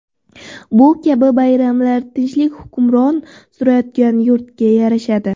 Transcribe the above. Bu kabi bayramlar tinchlik hukmron surayotgan yurtga yarashadi.